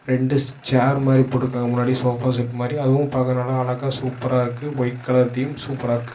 ரெண்டு ஷேர் மாரி போட்டுருக்காங்க முன்னாடி சோபா செட் மாரி அதுவும் பாக்க நல்ல அழகா சூப்பரா இருக்கு ஒயிட் கலர் தீம் சூப்பரா இருக்கு.